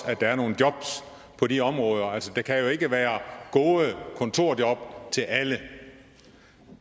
at der er nogle jobs på de områder der kan jo ikke være gode kontorjob til alle